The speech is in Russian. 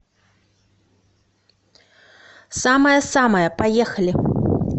самая самая поехали